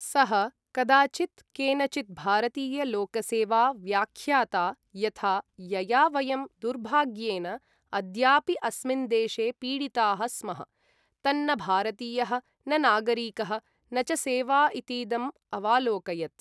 सः, कदाचित् केनचित् भारतीय लोकसेवा व्याख्याता यथा यया वयं दुर्भाग्येन अद्यापि अस्मिन् देशे पीडिताः स्मः, तन्न भारतीयः, न नागरिकः, न च सेवा इतीदम् अवालोकयत्।